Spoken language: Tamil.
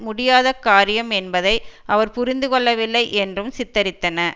முடியாத காரியம் என்பதை அவர் புரிந்துகொள்ளவில்லை என்றும் சித்தரித்தன